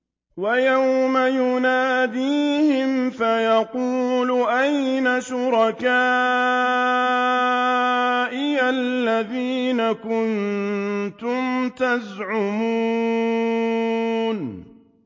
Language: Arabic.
وَيَوْمَ يُنَادِيهِمْ فَيَقُولُ أَيْنَ شُرَكَائِيَ الَّذِينَ كُنتُمْ تَزْعُمُونَ